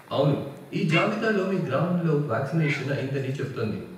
అవును, ఈ జాబితాలో మీ గ్రామంలో వాక్సినేషన్ అయిందని చెప్తోంది.